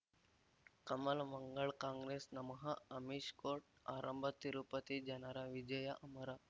ಕಮಲ್ ಮಂಗಳ್ ಕಾಂಗ್ರೆಸ್ ನಮಃ ಅಮಿಷ್ ಕೋರ್ಟ್ ಆರಂಭ ತಿರುಪತಿ ಜನರ ವಿಜಯ ಅಮರ